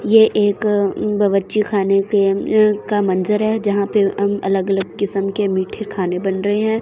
ये एक बवची खाने के का मंजर है जहां पे हम अलग-अलग किस्म के मीठे खाने बन रहे हैं।